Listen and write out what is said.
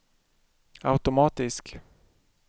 automatisk